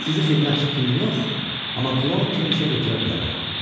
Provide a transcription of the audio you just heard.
Sizi xidmətçi kimi yox, amma kloun kimi işə götürə bilərəm.